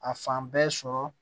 A fan bɛɛ sɔrɔ